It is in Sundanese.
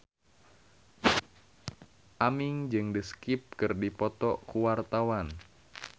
Aming jeung The Script keur dipoto ku wartawan